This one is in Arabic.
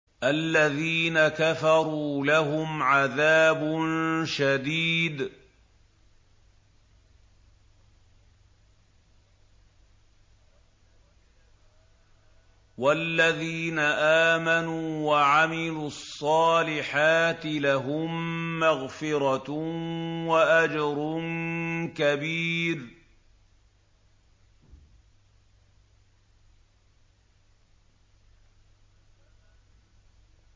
الَّذِينَ كَفَرُوا لَهُمْ عَذَابٌ شَدِيدٌ ۖ وَالَّذِينَ آمَنُوا وَعَمِلُوا الصَّالِحَاتِ لَهُم مَّغْفِرَةٌ وَأَجْرٌ كَبِيرٌ